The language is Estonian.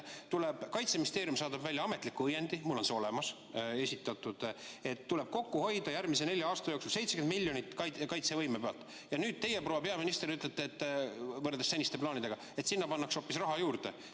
Kaitseministeerium saadab välja ametliku õiendi – mul on see olemas –, et järgmise nelja aasta jooksul tuleb 70 miljonit eurot kaitsevõime pealt kokku hoida, ja nüüd teie, proua peaminister, ütlete, et võrreldes seniste plaanidega pannakse sinna hoopis raha juurde.